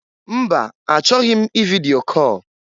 Mba! Achọghị m ividio call.